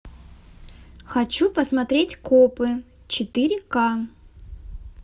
хочу посмотреть копы четыре ка